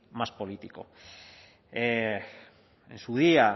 más político en su día